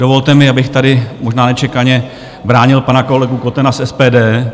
Dovolte mi, abych tady možná nečekaně bránil pana kolegu Kotena z SPD.